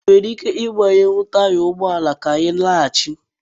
Ị nwere ike ịgbanye taya ụgbọ ala ka ị na-alaghachi?